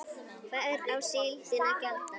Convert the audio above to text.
Hvers á síldin að gjalda?